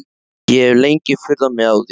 Ég hef lengi furðað mig á því.